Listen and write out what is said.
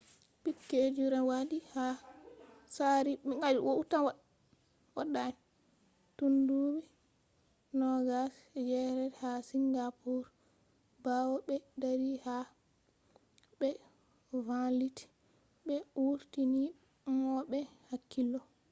piquet jr. wadi ha tsari tundubi 2008 ha singapore grand prix bawo be dari ha fernando alonso be vanliti be vurtini mo be hakkilo